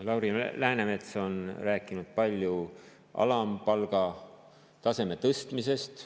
Lauri Läänemets on rääkinud palju alampalga taseme tõstmisest.